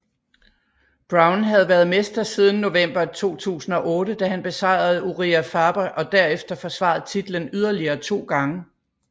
Brown havde været mester siden november 2008 da han besejrede Urijah Faber og derefter forsvarede titlen yderligere 2 gange